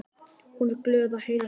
Hún er glöð að heyra frá mér.